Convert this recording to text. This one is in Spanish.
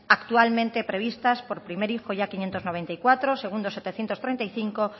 actualmente previstas por primer hijo ya quinientos noventa y cuatro segundo setecientos treinta y cinco